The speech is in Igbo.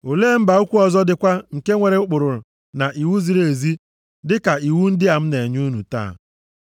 Olee mba ukwu ọzọ dịkwa nke nwere ụkpụrụ na iwu ziri ezi dịka iwu ndị a m na-enye unu taa?